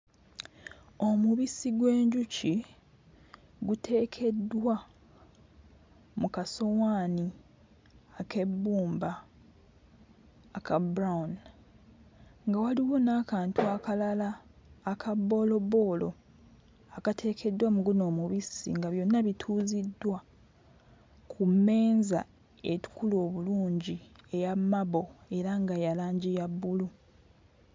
Omubisi gw'enjuki guteekeddwa mu kasowaani ak'ebbumba aka brown, nga waliwo n'akantu akalala aka bboolobboola akateekedddwa mu guno omubisi nga byonna bituuziddwa ku mmeeza etukula obulungi eya marble era nga ya langi ya bbulu.